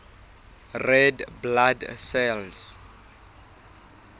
red blood cells